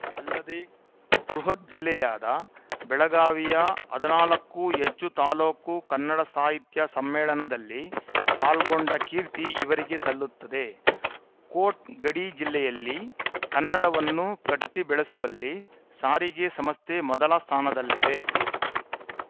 ಅಲ್ಲದೇ ಬೃಹತ್‌ ಜಿಲ್ಲೆಯಾದ ಬೆಳಗಾವಿಯ ಹದಿನಾಲ್ಕು ಹೆಚ್ಚು ತಾಲೂಕು ಕನ್ನಡ ಸಾಹಿತ್ಯ ಸಮ್ಮೇಳನದಲ್ಲಿ ಪಾಲ್ಗೊಂಡ ಕೀರ್ತಿ ಇವರಿಗೆ ಸಲ್ಲುತ್ತದೆ ಕೋಟ್‌ ಗಡಿ ಜಿಲ್ಲೆಯಲ್ಲಿ ಕನ್ನಡವನ್ನು ಕಟ್ಟಿಬೆಳೆಸುವಲ್ಲಿ ಸಾರಿಗೆ ಸಂಸ್ಥೆ ಮೊದಲ ಸ್ಥಾನದಲ್ಲಿದೆ